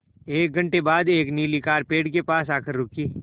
एक घण्टे बाद एक नीली कार पेड़ के पास आकर रुकी